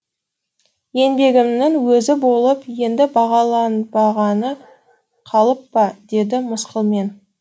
еңбегімнің өзі болып енді бағаланбағаны қалып па деді мысқылмен